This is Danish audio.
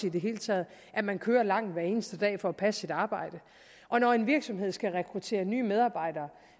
i det hele taget at man kører langt hver eneste dag for at passe sit arbejde og når en virksomhed skal rekruttere nye medarbejdere